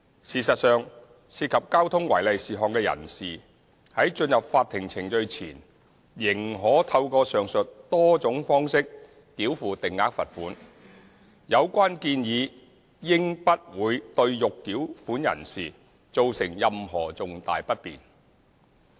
事實上，涉及交通違例事項的人士在進入法庭程序前，仍可透過上述多種方式繳付定額罰款，有關建議應不會對欲繳款人士造成任何重大不便。